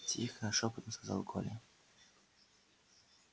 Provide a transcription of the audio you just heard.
тихо шёпотом сказал коля